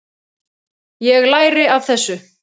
Ég læri af þessu.